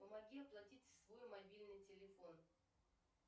помоги оплатить свой мобильный телефон